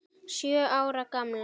Sjö ára gamlar.